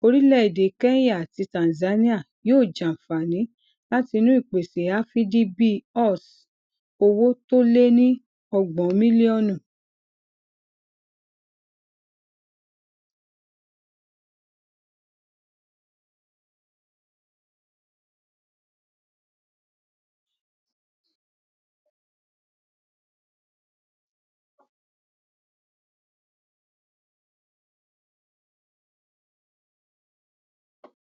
orílẹèdè kenya àti tanzania yóò jàǹfààní látinú ìpèsè afdb us owó tó lé ní ọgbòn mílíònù